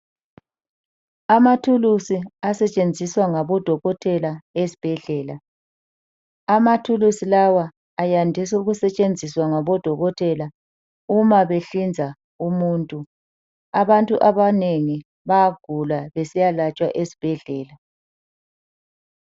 Amathuluzi asetshenziswa ngabodokotela ezibhedlela. Amathulusi lawa ayandiswa ukusetshenziswa ngabodokotela uma behlinza umuntu. Abantu abanengi bayagula besiyalatshwa esibhedlela.